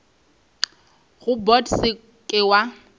go bot se ke wa